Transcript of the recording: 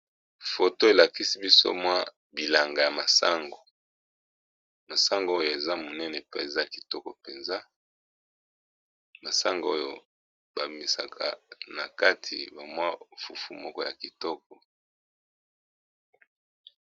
foto elakisi biso mwa bilanga ya masango masango oyo eza monene pe eza kitoko mpenza masango oyo bamisaka na kati bamwa fufu moko ya kitoko